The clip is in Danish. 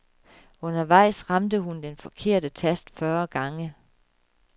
Undervejs ramte hun den forkerte tast fyrre gange.